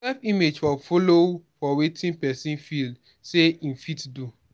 self image for follow for wetin person feel sey im fit do